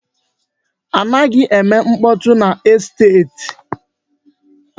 A naghi eme mkpọtụ n'esteti.